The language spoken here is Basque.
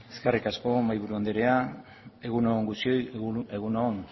eskerrik asko mahaiburu anderea egun on guztioi edo